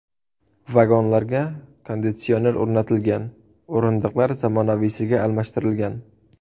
Vagonlarga konditsioner o‘rnatilgan, o‘rindiqlar zamonaviysiga almashtirilgan.